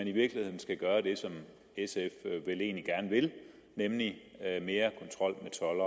i virkeligheden skal gøre det som sf vel egentlig gerne vil nemlig have mere toldkontrol